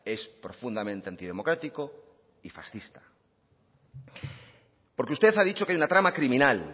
es profundamente antidemocrático y fascista porque usted ha dicho que hay una trama criminal